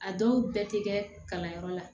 A dɔw bɛɛ tɛ kɛ kalanyɔrɔ la